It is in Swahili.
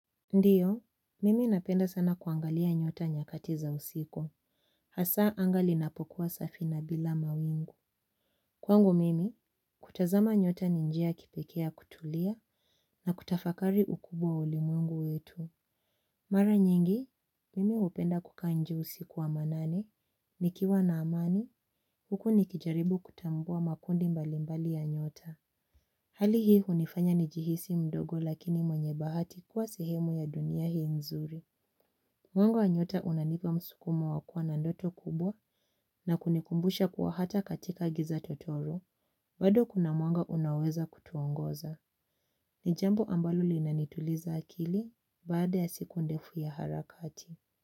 Ndiyo, mimi napenda sana kuangalia nyota nyakati za usiku, hasa anga linapokuwa safi na bila mawingu. Kwango mimi, kutazama nyota ni njia kipekea kutulia na kutafakari ukubwa ulimwengu wetu. Mara nyingi, mimi upenda kukaa nje usiku wa manane, nikiwa na amani, huku nikijaribu kutambua makundi mbalimbali ya nyota. Hali hii hunifanya njihisi mdogo lakini mwenye bahati kuwa sehemu ya dunia hii nzuri. Mwanga wa nyota unanipa msukumo wakua na ndoto kubwa na kunikumbusha kuwa hata katika giza totoro. Bado kuna mwanga unaoweza kutuongoza. Ni jambo ambalo linanituliza akili baada ya siku ndefu ya harakati.